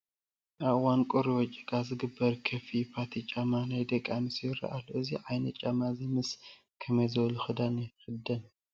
ኣብ እዋን ቁሪ ወይ ጭቃ ዝግበር ከፈይ ፖቲ ጫማ ናይ ደቂ ኣንስትዮ ይረአ ኣሎ፡፡ እዚ ዓይነት ጫማ እዚ ምስ ከመይ ዝበለ ክዳን ይኽደን?